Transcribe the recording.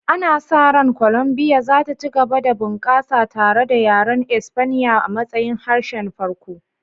Ana sa ran Colombia za ta ci gaba da bunƙasa tare da yaren Espanya a matsayin harshen farko,